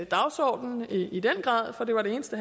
dagsordenen og i den grad for det var det eneste